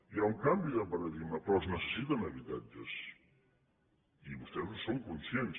hi ha un canvi de paradigma però es necessiten habitatges i vostès en són conscients